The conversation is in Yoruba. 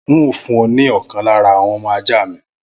N óò fún ọ ní ọ̀kan lára àwọn ọmọ ajá mi